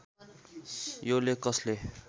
यो लेख कसले